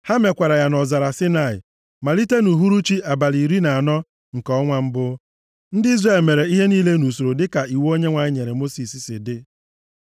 Ha mekwara ya nʼọzara Saịnaị malite nʼuhuruchi abalị iri na anọ nke ọnwa mbụ. + 9:5 Bụ ụbọchị ngabiga ụmụ Izrel Ndị Izrel mere ihe niile nʼusoro dịka iwu Onyenwe anyị nyere Mosis si dị.